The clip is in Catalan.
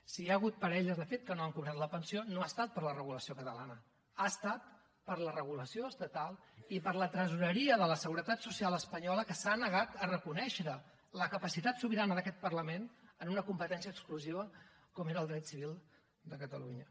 si hi ha hagut parelles de fet que no han cobrat la pensió no ha estat per la regulació catalana ha estat per la regulació estatal i per la tresoreria de la seguretat social espanyola que s’ha negat a reconèixer la capacitat sobirana d’aquest parlament en una competència exclusiva com era el dret civil de catalunya